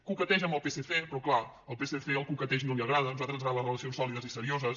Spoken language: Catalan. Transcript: coqueteja amb el psc però clar al psc el coqueteig no li agrada a nosaltres ens agraden les re·lacions sòlides i serioses